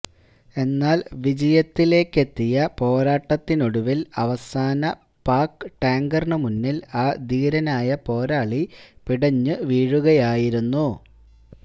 എന്നാല് വിജയത്തിലേക്കെത്തിയ പോരാട്ടത്തിനൊടുവില് അവസാന പാക് ടാങ്കറിനു മുന്നില് ആ ധീരനായ പോരാളി പിടഞ്ഞു വീഴുകയായിരുന്നു